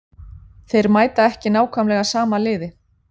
Þeir mæta ekki nákvæmlega sama liði.